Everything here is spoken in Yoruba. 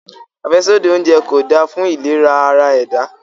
Afẹsodi ounjẹ ko da fun ilera ara-ẹda